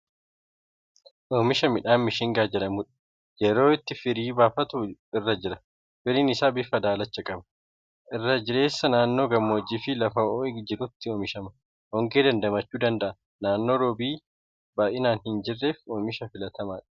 Oomisha midhaan Mishingaa jedhamuudha. Yeroo itti firii buufatu irra jira. Firiin isaa bifa daalacha qaba. Irra jireessaan naannoo gammoojjiii fi lafa ho'i jirutti oomishama. Hongee dandamachuu danda'a. Naannoo roobi baay'inaan hin jirreef oomisha filatamaadha.